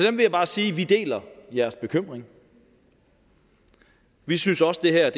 jeg bare sige at vi deler jeres bekymring vi synes også det her